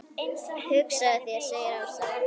Hugsaðu þér segir Ása.